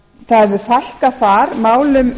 það hefur fækka þar málum